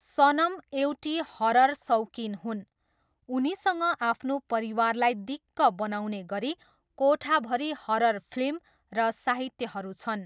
सनम एउटी हरर सौकिन हुन्, उनीसँग आफ्नो परिवारलाई दिक्क बनाउने गरी कोठाभरि हरर फिल्म र साहित्यहरू छन्।